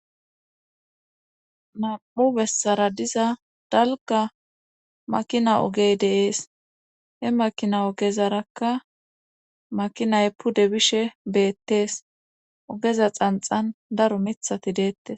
Nam7u bessara diza dalga makina ogey deees he makina ogezarakka makinay pude bishe beettees ogeza xanxan daro mithati deettes.